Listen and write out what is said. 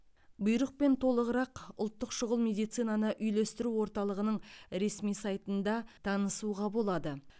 бұйрықпен толығырақ ұлттық шұғыл медицинаны үйлестіру орталығының ресми сайтында танысуға болады